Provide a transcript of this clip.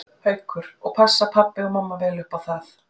Haukur: Og passa pabbi og mamma vel upp á það?